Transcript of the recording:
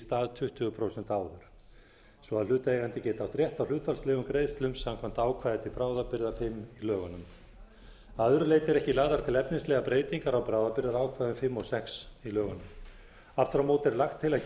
stað tuttugu prósent áður svo að hlutaðeigandi geti átt rétt á hlutfallslegum greiðslum samkvæmt ákvæði til bráðabirgða fimm í lögunum að öðru leyti eru ekki lagðar til efnislegar breytingar á bráðabirgðaákvæðum fimm og sex í lögunum aftur á móti er lagt til að